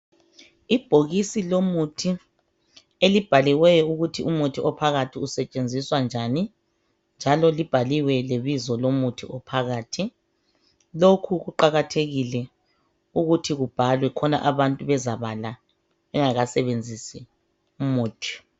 Ibhokisi lomuthi elibhaliweyo phakathi ukuthi umuthi usetshenziswa njani njalo libhaliwe lebizo lomuthi ophakathi . Lokhu kuqakathekile ukuthi kubhalwe khona abantu bezabala bengakasebenzisi umuthi.